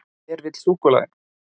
Hver vill súkkulaði?